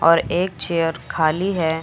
और एक चेयर खाली है।